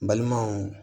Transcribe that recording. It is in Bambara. N balimaw